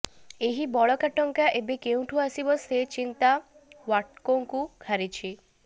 ଏହି ବଳକା ଟଙ୍କା ଏବେ କେଉଁଠୁ ଆସିବ ସେ ଚିନ୍ତା ଓ୍ବାଟ୍କୋକୁ ଘାରିଛି